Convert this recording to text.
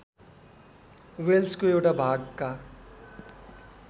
वेल्सको एउटा भागका